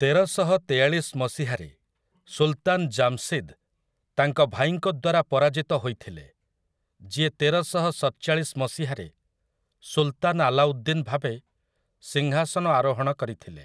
ତେରଶହ ତେୟାଳିଶ ମସିହାରେ ସୁଲତାନ ଜାମ୍‌ଶିଦ୍ ତାଙ୍କ ଭାଇଙ୍କ ଦ୍ୱାରା ପରାଜିତ ହୋଇଥିଲେ, ଯିଏ ତେରଶହ ସତଚାଳିଶ ମସିହାରେ ସୁଲତାନ ଆଲାଉଦ୍ଦିନ୍ ଭାବେ ସିଂହାସନ ଆରୋହଣ କରିଥିଲେ ।